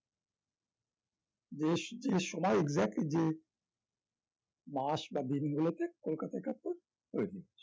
দেশ যে সময় exactly যে মাস বা দিনগুলোতে কলকাতা একাত্তর হয়ে গিয়েছে